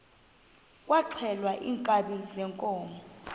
kwaxhelwa iinkabi zeenkomo